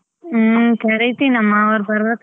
ಹ್ಮ್ ಕರಿತಿನಮ್ಮ ಅವ್ರು ಬರ್ಬೇಕಲ್ಲ.